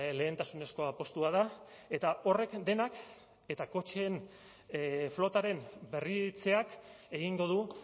lehentasunezko apustua da eta horrek denak eta kotxeen flotaren berritzeak egingo du